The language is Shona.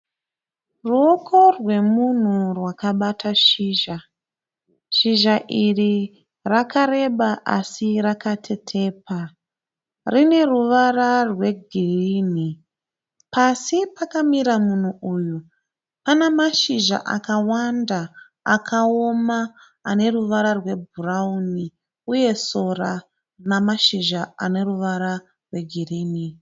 Ruoko rwemunhu rwakabata shizha. Shizha iri rakareba asi rakatetepa. Rine ruvara rwegirinhi. Pasi pakamira munhu uyu pane mashizha akawanda akaoma ane ruvara rwebhurawuni uye sora rine mashizha ane ruvara rwegirinhi.